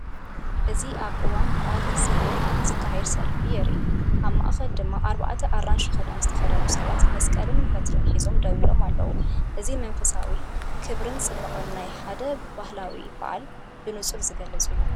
እዚ ኣብ እዋን በዓል እግዚኣብሔር ዝካየድ ሰልፊ የርኢ። ኣብ ማእከል ድማ ኣርባዕተ ኣራንሺ ክዳን ዝተኸድኑ ሰባት መስቀልን በትርን ሒዞም ደው ኢሎም ኣለዉ። እዚ መንፈሳዊ ክብርን ጽባቐን ናይ ሓደ ባህላዊ በዓል ብንጹር ዝገልጽ እዩ።